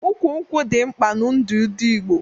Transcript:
Ụkwụ nkwụ dị mkpa n'ndu ndị Igbo